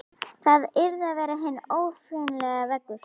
Það yrði að vera hinn órjúfanlegi veggur.